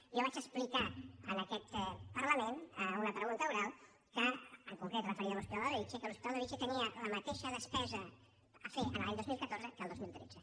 jo vaig explicar en aquest parlament a una pregunta oral en concret referida a l’hospital de bellvitge que l’hospital de bellvitge tenia la mateixa despesa a fer l’any dos mil catorze que el dos mil tretze